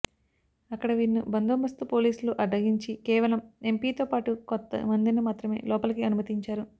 అక్కడ వీరిని బందోబస్తు పోలీసులు అడ్డగించి కేవలం ఎంపీతో పాటు కొద్దిమందిని మాత్రమే లోపలికి అనుమతించారు